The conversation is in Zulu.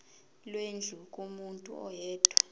lwendlu kumuntu oyedwa